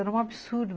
Era um absurdo.